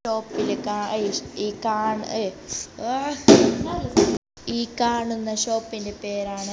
ടോപ്പില് കാ ഇഷ് ഈ കാണ് ഏയി ഏഹ് ഈ കാണുന്ന ഷോപ്പിൻ്റെ പേരാണ്--